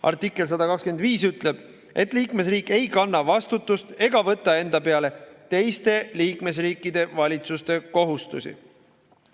Artikkel 125 ütleb, et liikmesriik ei kanna vastutust ega võta enda peale teiste liikmesriikide valitsuste kohustusi.